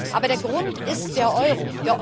Aber der Grund ist der Euro.